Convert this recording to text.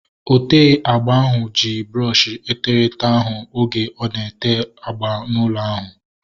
Ote agba ahu ji brọọshi eterete ahu oge ọ na-ete agba n'ụlọ ahu